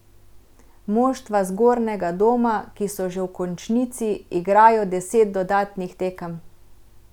Moštva zgornjega doma, ki so že v končnici, igrajo deset dodatnih tekem.